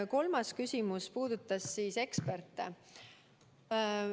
Kolmas küsimus puudutas eksperte.